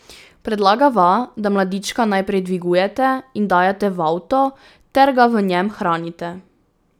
Predlagava, da mladička najprej dvigujete in dajete v avto ter ga v njem hranite.